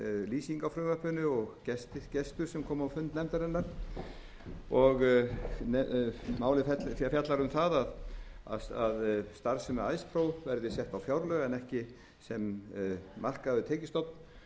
lýsing á frumvarpinu og gestur sem kom á fund nefndarinnar málið fjallar um það að starfsemi icepro verði sett á fjárlög en ekki sem markaður tekjustofn